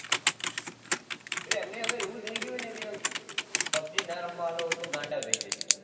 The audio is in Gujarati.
એટલે એમને હવે એવું બથી ગયું હેને હવે કે pubg ના રમવા આપો તો ગાંડા થઇ જાયે